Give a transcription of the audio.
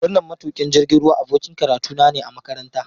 Wannan matukin jirgin ruwa abokin karatuna ne a makaranta.